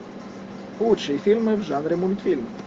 лучшие фильмы в жанре мультфильм